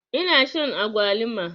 Ina shan agwaluma.